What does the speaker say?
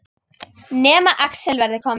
Nema Axel verði kominn.